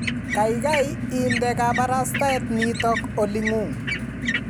kaikai inde kabarstaet nitok olingung